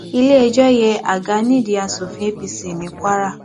iléẹjọ yẹ àga nídìí asòfin apc ní kwara